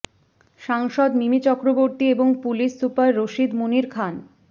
সাংসদ মিমি চক্রবর্তী এবং police super Rashid Munir খান